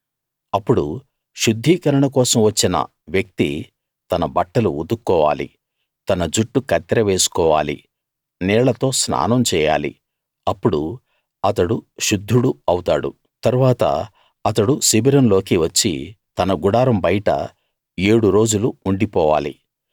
అప్పుడు శుద్ధీకరణ కోసం వచ్చిన వ్యక్తి తన బట్టలు ఉతుక్కోవాలి తన జుట్టు కత్తెర వేసుకోవాలి నీళ్ళతో స్నానం చేయాలి అప్పుడు అతడు శుద్ధుడు అవుతాడు తరువాత అతడు శిబిరంలోకి వచ్చి తన గుడారం బయట ఏడు రోజులు ఉండిపోవాలి